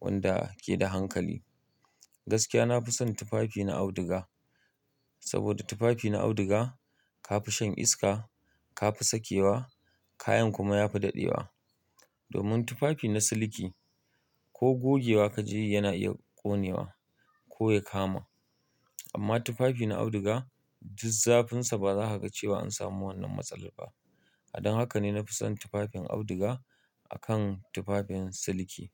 wanda ke da hankali. Gaskiya nafi son tufafi na auduga, saboda tufafi na auduga kafi shan iska, kafi sakewa kayan kuma yafi daɗewa. Domin tufafi na siliki ko gogewa kaje yana iya ƙonewa ko ya kama. Amma tufafi na auduga, duk zafinsa baza ka ga cewa an samu wannan matsala ba. A dan haka ne nafi son tufafin auduga akan tufafin siliki.